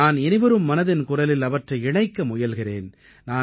நான் இனிவரும் மனதின் குரலில் அவற்றை இணைக்க முயல்கிறேன்